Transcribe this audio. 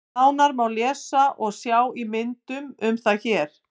Nánar má lesa og sjá í myndum um það hér.